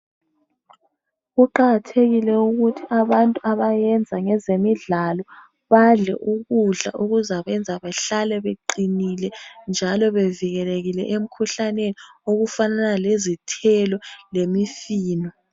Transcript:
Kuqakathekile ukuthi abantu abayenza ngezemidlalo badle ukudla okuzabenza behlale beqinile njalo bevikelekile emkhuhlaneni okufanana lezithelo lemifino